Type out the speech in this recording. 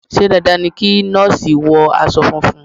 Ṣé dandan ni kí Nọ́ọ̀sì wọ aṣọ funfun.?